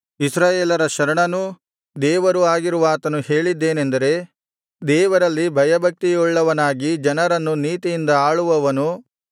ಇಸ್ರಾಯೇಲರ ಶರಣನೂ ದೇವರೂ ಆಗಿರುವಾತನು ಹೇಳಿದ್ದೇನೆಂದರೆ ದೇವರಲ್ಲಿ ಭಯಭಕ್ತಿಯುಳ್ಳವನಾಗಿ ಜನರನ್ನು ನೀತಿಯಿಂದ ಆಳುವವನು